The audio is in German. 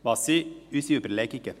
Welches sind unsere Überlegungen?